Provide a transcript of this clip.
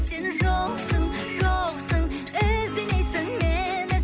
сен жоқсың жоқсың іздемейсің мені